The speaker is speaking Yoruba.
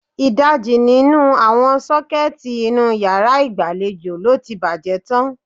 Ìdajì nínú àwọn sọ́kẹ́ẹ́tì inú yàrá ìgbàlejò lo ti bàjẹ́ tán.